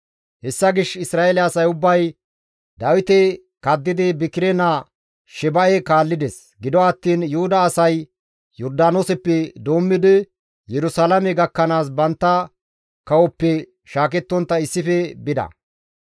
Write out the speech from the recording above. Hessa gishshas Isra7eele asay ubbay Dawite kaddidi Bikire naa Sheba7e kaallides; gido attiin Yuhuda asay Yordaanooseppe doommidi Yerusalaame gakkanaas bantta kawozappe shaakettontta issife bida.